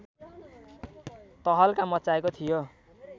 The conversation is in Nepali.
तहल्का मच्चाएको थियो